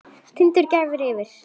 Tindur gnæfir yfir.